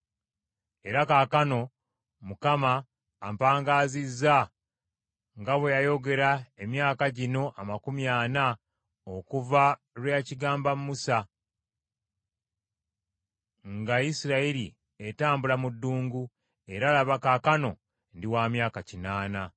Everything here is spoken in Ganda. “Era kaakano Mukama ampangaazizza nga bwe yayogera emyaka gino amakumi ana okuva lwe yakigamba Musa, nga Isirayiri etambula mu ddungu. Era laba kaakano ndi wa myaka kinaana!